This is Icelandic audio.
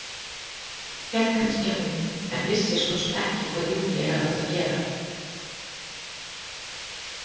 Hélt kannski að hún- en vissi svo sem ekki hvað Júlía hefði átt að gera.